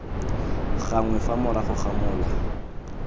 gangwe fa morago ga mola